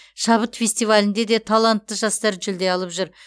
шабыт фестивалінде де талантты жастар жүлде алып жүр